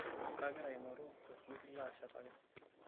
Kagira aing'oru olfundi laashetaki.